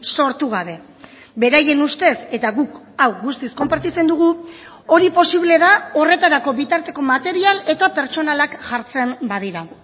sortu gabe beraien ustez eta guk hau guztiz konpartitzen dugu hori posible da horretarako bitarteko material eta pertsonalak jartzen badira